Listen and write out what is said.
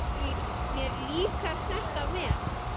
Mér líkar þetta vel.